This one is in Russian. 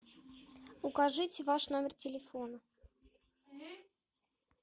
укажите ваш номер телефона